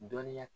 Dɔnniya